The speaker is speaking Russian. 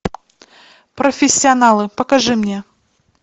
профессионалы покажи мне